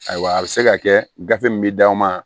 Ayiwa a bɛ se ka kɛ gafe min bɛ d'aw ma